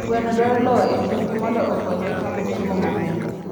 gwen dwaro lowo e chiembgi mondo okonygi chamo chiemo maber